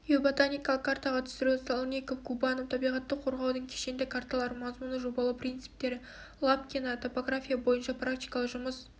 геоботаникалық картаға түсіру сальников губанов табиғатты қорғаудың кешенді карталары мазмұны жобалау принциптері лапкина топография бойынша практикалық жұмыс